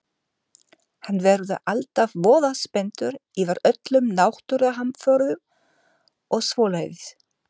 Hann verður alltaf voða spenntur yfir öllum náttúruhamförum og svoleiðis.